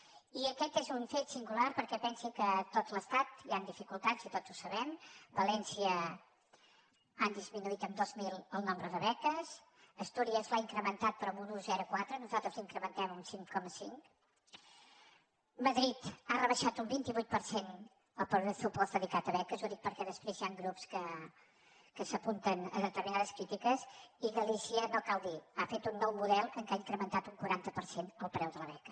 i aquest és un fet singular perquè pensi que a tot l’estat hi han dificultats i tots ho sabem a valència han disminuït en dos mil el nombre de beques astúries l’ha incrementat però en un un coma quatre nosaltres l’incrementem un cinc coma cinc madrid ha rebaixat un vint vuit per cent el pressupost dedicat a beques ho dic perquè després hi han grups que s’apunten a determinades crítiques i galícia no cal dir ho ha fet un nou model amb què ha incrementat un quaranta per cent el preu de la beca